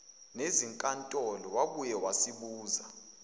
nezinkantolo wabuye wasibuza